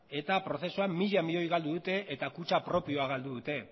eta prozesuan mila milioi galdu dute eta kutxa propioa galdu dute